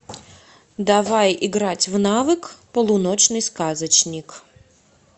давай играть в навык полуночный сказочник